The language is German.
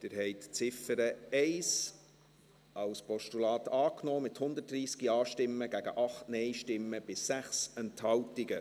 Sie haben die Ziffer 1 als Postulat angenommen, mit 130 Ja- gegen 8 Nein-Stimmen bei 6 Enthaltungen.